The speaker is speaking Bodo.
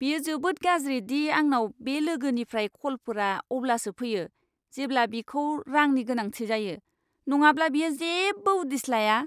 बेयो जोबोद गाज्रि दि आंनाव बे लोगोनिफ्राय कलफोरा अब्लासो फैयो, जेब्ला बिखौ रांनि गोनांथि जायो, नङाब्ला बियो जेबो उदिस लाया!